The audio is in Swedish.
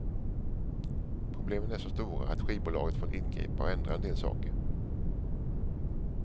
Problemen är så stora att skivbolaget fått ingripa och ändra en del saker.